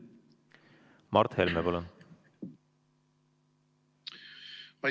Mart Helme, palun!